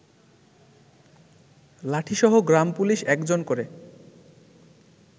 লাঠিসহ গ্রামপুলিশ একজন করে